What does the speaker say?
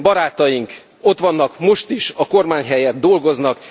Barátaink ott vannak most is, a kormány helyett dolgoznak.